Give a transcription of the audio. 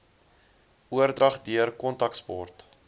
oordrag deur kontaksport